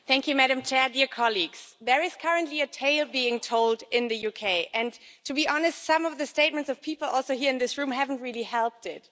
Madam President, there is currently a tale being told in the UK and, to be honest, some of the statements of people also here in this room haven't really helped it.